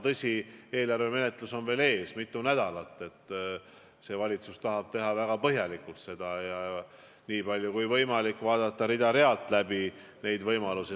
Tõsi, eelarvemenetlus kestab veel mitu nädalat, see valitsus tahab seda teha väga põhjalikult ja nii palju kui võimalik neid võimalusi rida-realt läbi vaadata.